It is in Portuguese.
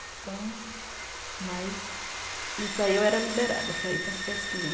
Então... Mas nisso aí eu era liberada para ir paras festinhas.